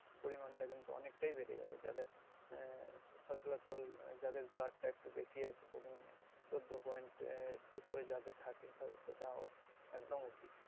পরিমাণটা কিন্তু অনেকটাই বেড়ে যাবে যাদের আহ সচলাচল আহ যাদের blood টা একটু বেশি আছে পরিমাণে চোদ্দ point এর ওপরে যাদের থাকে তাদের তো দেওয়া একদম উচিত